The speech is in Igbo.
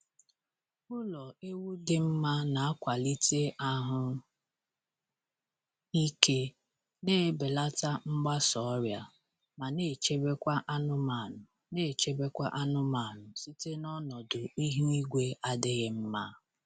Ụlọ ewu dị mma na-akwalite ahụ ike, na-ebelata mgbasa ọrịa, ma na-echebekwa anụmanụ na-echebekwa anụmanụ site n'ọnọdụ ihu igwe adịghị mma.